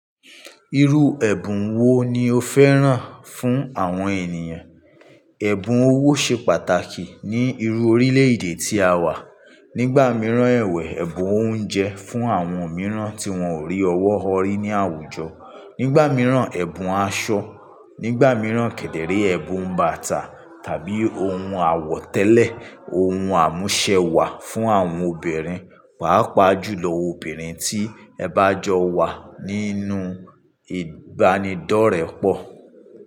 Irú ẹ̀bùn wo ni o féràn fún àwọn ènìyàn? Ẹ̀bùn owó ṣe pàtàkì ní irú orílẹ̀-èdè tí a wà. Nígbà mìíràn ẹ̀wẹ̀ ẹ̀bùn oúnjẹ fún àwọn mìíràn tí wọ́n ò rí ọwọ́ họrí ní àwùjọ. Nígbà mìíràn ẹ̀bùn aṣọ, nígbà mìíràn kedere ẹ̀bùn bàtà tàbí oun àwọ̀tẹ́lẹ̀, oun àmúṣẹ wà fún àwọn obìnrin. Wà á pàájù lọ obìnrin tí ẹ bá jọ wà nínú ìbánidọ́rẹ pọ̀